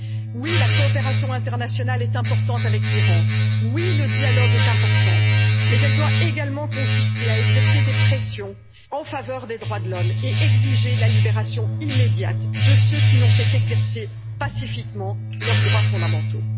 Oui, la coopération internationale avec l'Iran est importante, oui, le dialogue est important, mais elle doit également consister à exercer des pressions en faveur des droits de l'homme et exiger la libération immédiate de ceux qui n'ont fait qu'exercer pacifiquement leurs droits fondamentaux.